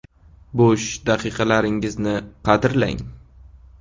Bo‘sh daqiqalaringizni qadrlang!